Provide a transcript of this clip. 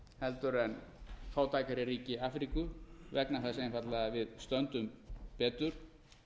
heldur en fátækari ríki afríku vegna þess einfaldlega að við stöndum betur